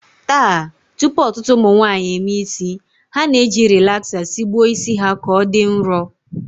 Taa, tupu ọtụtụ ụmụnwaanyị emee isi, ha na-eji rilaksa sigbuo isi ha ka ọ dị nrọ